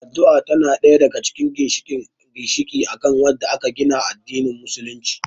Addu'a tana ɗaya daga cikin ginshiƙi akan wadda aka gina addanin musulunci